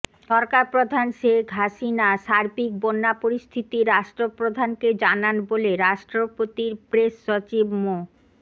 সরকারপ্রধান শেখ হাসিনা সার্বিক বন্যা পরিস্থিতি রাষ্ট্রপ্রধানকে জানান বলে রাষ্ট্রপতির প্রেস সচিব মো